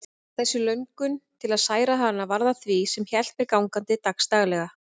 Þessi löngun til að særa hana varð að því sem hélt mér gangandi dagsdaglega.